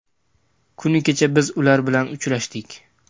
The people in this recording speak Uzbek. Kuni kecha biz ular bilan uchrashdik.